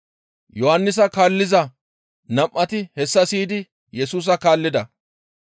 Yohannisa kaalliza nam7ati hessa siyidi Yesusa kaallida.